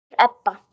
Auður Ebba.